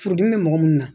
Furudimi bɛ mɔgɔ mun na